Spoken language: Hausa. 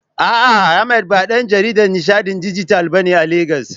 A'a, Ahmad ba ɗan jaridan nishaɗin dijital bane a Legas.